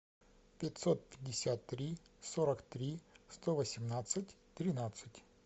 пятьсот пятьдесят три сорок три сто восемнадцать тринадцать